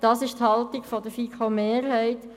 Das ist die Haltung der FiKo-Mehrheit.